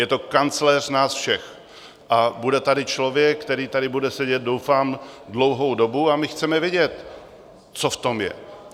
Je to kancléř nás všech a bude tady člověk, který tady bude sedět doufám dlouhou dobu, a my chceme vědět, co v tom je.